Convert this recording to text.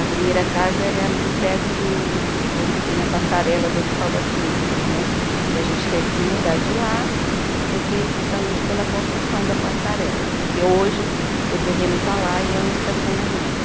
A primeira casa era ali perto do onde tem a passarela do Hospital das Clínicas né, que a gente teve que mudar de lá, porque justamente pela construção da passarela, que hoje o terreno está lá e é um estacionamento.